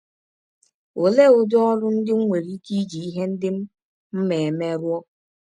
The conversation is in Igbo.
Ọlee ụdị ọrụ ndị m nwere ike iji ihe ndị m ma eme rụọ?